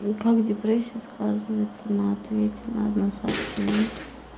как депрессия сказывается на ответе на одно сообщение